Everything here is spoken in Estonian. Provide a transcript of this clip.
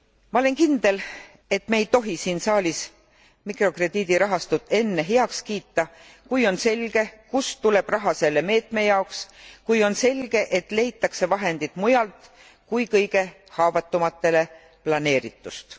Ma olen kindel, et me ei tohi siin saalis mikrokrediidirahastut enne heaks kiita, kui on selge, kust tuleb raha selle meetme jaoks, kui on selge, et leitakse vahendid mujalt kui kõige haavatumatele planeeritust.